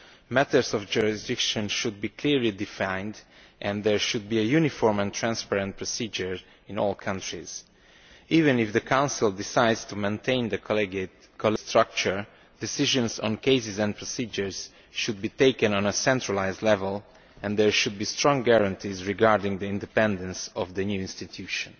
Matters of jurisdiction should be clearly defined and there should be a uniform and transparent procedure in all countries. Even if the Council decides to maintain the collegiate structure, decisions on cases and procedures should be taken on a centralised level and there should be strong guarantees regarding the independence of the new institution.